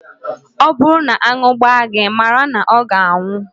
Ọ bụrụ na aṅụ gbaa gị, mara na ọ ga-anwụ